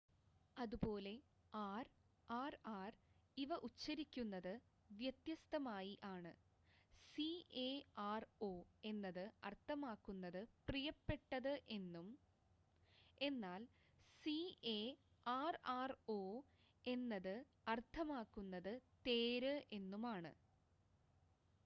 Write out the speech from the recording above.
അതുപോലെ R RR ഇവ ഉച്ചരിക്കുന്നത് വ്യത്യസ്തമായി ആണ് സിഎആർഒ എന്നത് അർത്ഥമാക്കുന്നത് പ്രിയപ്പെട്ടത് എന്നും എന്നാൽ സിഎ ആർആർഒ എന്നത് അർത്ഥമാക്കുന്നത് തേര് എന്നുമാണ്